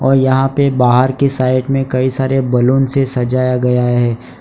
और यहां पे बाहर के साइड में कई सारे बैलून से सजाया गया है।